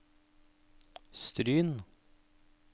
Stryn